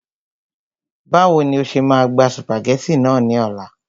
Báwo ni o ṣe máa gba sùpàgẹ́tì náà ní ọ̀la